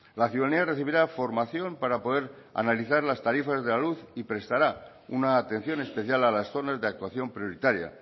la ciudanía recibirá formación para poder analizar las tarifas de la luz y prestará una atención especial a las zonas de actuación prioritaria